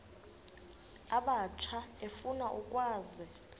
abatsha efuna ukwazi